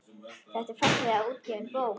Þetta er fallega útgefin bók.